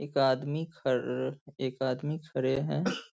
एक आदमी खड़ ड़ एक आदमी खड़े हैं।